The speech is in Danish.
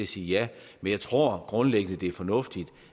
sige ja men jeg tror grundlæggende det er fornuftigt